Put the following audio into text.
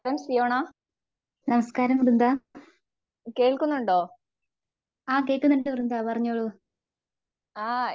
നമസ്കാരം വൃന്ദ ആ കേക്കുന്നുണ്ട് വൃന്ദ പറഞ്ഞോളൂ